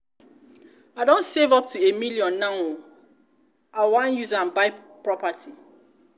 i don save up to a million now oo i was use am buy property